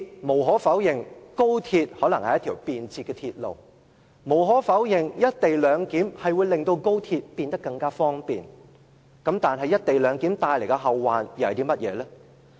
無可否認，高鐵可能是一條便捷的鐵路；無可否認，"一地兩檢"會令高鐵變得更方便；但"一地兩檢"帶來的後患又是甚麼呢？